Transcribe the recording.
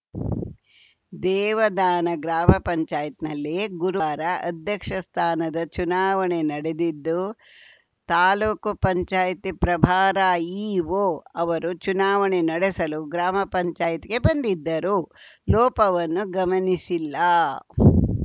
ದೇವದಾನ ಗ್ರಾಮ ಪಂಚಾಯತ್ ನಲ್ಲಿ ಗುರುವಾರ ಅಧ್ಯಕ್ಷ ಸ್ಥಾನದ ಚುನಾವಣೆ ನಡೆದಿದ್ದು ತಾಲೂಕು ಪಂಚಾಯತ್ ಪ್ರಭಾರ ಇಓ ಅವರು ಚುನಾವಣೆ ನಡೆಸಲು ಗ್ರಾಮ ಪಂಚಾಯತ್ಗೆ ಬಂದಿದ್ದರೂ ಲೋಪವನ್ನು ಗಮನಿಸಿಲ್ಲ